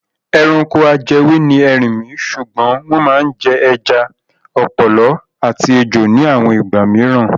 Ẹranko ajẹwé ni erinmi ṣùgbọ́n wọ́n máa ń jẹ ẹja, ọ̀pọ̀lọ́ àti ejò ní àwọn ìgbà mìíràn.